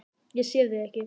Ég sé þig ekki.